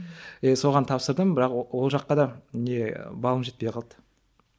е соған тапсырдым бірақ ол жаққа да не балым жетпей қалды